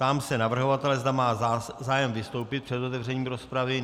Ptám se navrhovatele, zda má zájem vystoupit před otevřením rozpravy.